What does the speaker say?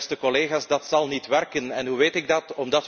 Beste collega's, dat zal niet werken en hoe weet ik dat?